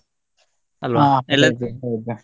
ಹೌದು.